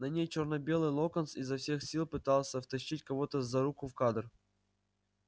на ней чёрно-белый локонс изо всех сил пытался втащить кого-то за руку в кадр